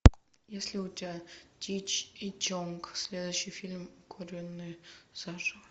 есть ли у тебя чич и чонг следующий фильм укуренные заживо